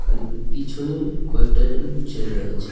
খালি পিছনে কয়েকটান ছেলে দেখা যাচ্ছে.